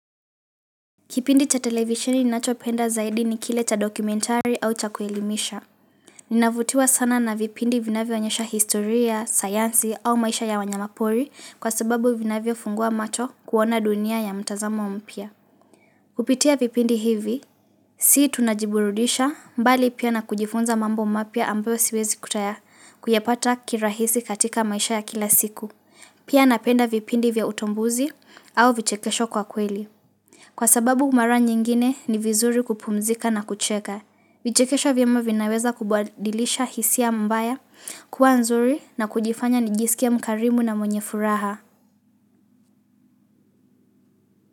Kipindi cha televisheni ninacho penda zaidi ni kile cha dokumentari au cha kuelimisha Ninavutiwa sana na vipindi vinavyoonyesha historia, sayansi au maisha ya wanyamapori kwa sababu vinavyo fungua macho kuona dunia ya mtazamo mpya kUpitia vipindi hivi, sii tunajiburudisha mbali pia nakujifunza mambo mapya ambayo siwezi kutaya kuyepata kirahisi katika maisha ya kila siku Pia napenda vipindi vya utumbuzi au vichekesho kwa kweli Kwa sababu mara nyingine ni vizuri kupumzika na kucheka. Vichekesha vyema vinaweza kubadilisha hisia mbaya kuwa nzuri na kujifanya nijisikie mkarimu na mwenye furaha.